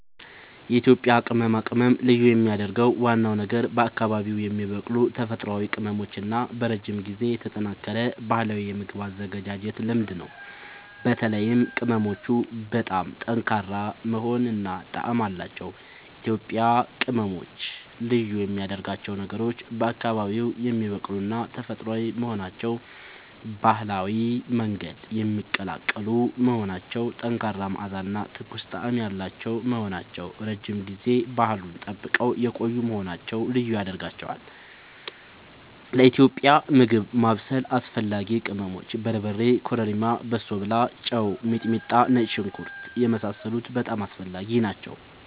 የኢትዮጵያ ቅመማ ቅመም ልዩ የሚያደርገው ዋናው ነገር በአካባቢዉ የሚበቅሉ ተፈጥሯዊ ቅመሞች እና በረጅም ጊዜ የተጠናከረ ባህላዊ የምግብ አዘገጃጀት ልምድ ነው። በተለይም ቅመሞቹ በጣም ጠንካራ መዓዛ እና ጣዕም አላቸዉ። ኢትዮጵያዊ ቅመሞች ልዩ የሚያደርጋቸው ነገሮች፦ በአካባቢዉ የሚበቅሉና ተፈጥሯዊ መሆናቸዉ፣ በባህላዊ መንገድ የሚቀላቀሉ መሆናቸዉ፣ ጠንካራ መዓዛ እና ትኩስ ጣዕም ያላቸዉ መሆናቸዉ፣ ረዥም ጊዜ ባህሉን ጠብቀዉ የቆዪ መሆናቸዉ ልዪ ያደርጋቸዋል። ለኢትዮጵያዊ ምግብ ማብሰል አስፈላጊ ቅመሞች፦ በርበሬ፣ ኮረሪማ፣ በሶብላ፣ ጨዉ፣ ሚጥሚጣና ነጭ ሽንኩርት የመሳሰሉት በጣም አስፈላጊ ናቸዉ